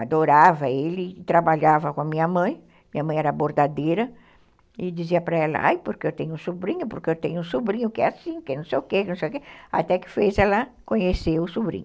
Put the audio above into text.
adorava ele, trabalhava com a minha mãe, minha mãe era bordadeira, e dizia para ela, ai, porque eu tenho um sobrinho, porque eu tenho um sobrinho, que é assim, que é não sei o que, até que fez ela conhecer o sobrinho.